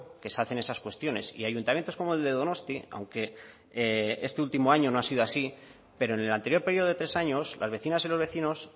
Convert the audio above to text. que se hace en esas cuestiones y ayuntamientos como el de donostia aunque este último año no ha sido así pero en el anterior periodo de tres años las vecinas y los vecinos